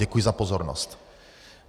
Děkuji za pozornost.